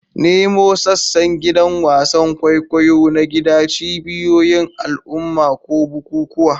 Nemo sassan gidan wasan kwaikwayo na gida, cibiyoyin al'umma, ko bukukuwa.